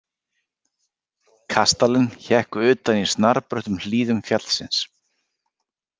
Kastalinn hékk utan í snarbröttum hlíðum fjallsins.